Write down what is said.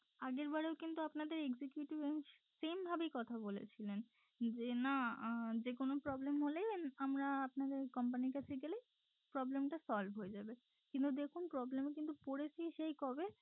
আগের বারেও কিন্তু আপনাদের executive same ভাবেই কথা বলেছিলেন যে না আহ যেকোনো problem হলে আমরা আপনাদের company র কাছে গেলে problem টা solve হয়ে যাবে কিন্তু দেখুন problem এ পড়েছি সেই কবে